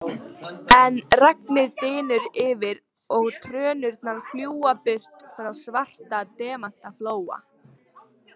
En regnið dynur yfir og trönurnar fljúga burt frá Svarta demantaflóa.